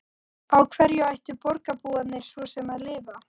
Á hverju ættu borgarbúarnir svo sem að lifa?